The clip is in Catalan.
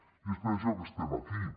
i és per això que estem aquí